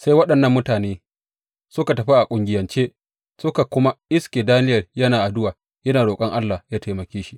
Sai waɗannan mutane suka tafi a ƙungiyance suka kuma iske Daniyel yana addu’a yana roƙon Allah yă taimake shi.